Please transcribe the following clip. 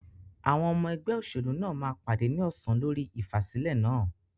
Àwọn ọmọ ẹgbẹ́ òṣèlú náà máa pàdé ní ọsàn lórí ìfàsílẹ̀ náà.